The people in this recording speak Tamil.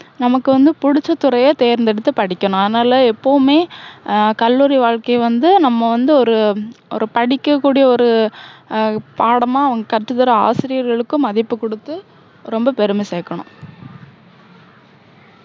நமக்கு வந்து பிடிச்ச துறைய தேர்ந்தெடுத்து படிக்கணும். அதனால எப்போவுமே, ஹம் கல்லூரி வாழ்க்கைய வந்து, நம்ம வந்து ஒரு, ஒரு படிக்க கூடிய ஒரு அஹ் பாடமா கத்துத்தர ஆசிரியர்களுக்கும் மதிப்பு கொடுத்து, ரொம்ப பெருமை சேர்க்கணும்.